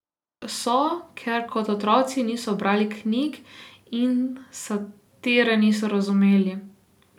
So, ker kot otroci niso brali knjig in satire niso razumeli.